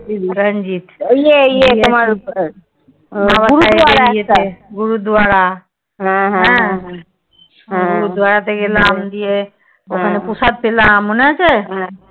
রঞ্জিত গুরদ্বারা গুরুদ্বারা তে গেলাম গিয়ে ওখানে প্রসাদ খেলাম মনে আছে?